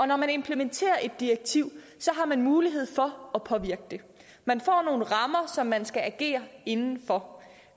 når man implementerer et direktiv har man mulighed for at påvirke det man får nogle rammer som man skal agere inden for